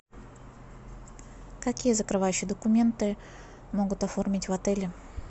какие закрывающие документы могут оформить в отеле